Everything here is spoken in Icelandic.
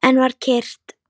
Enn var kyrrt.